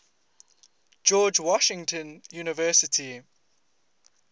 george washington university